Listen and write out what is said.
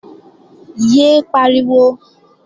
Yé é pariwo!